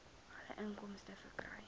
alle inkomste verkry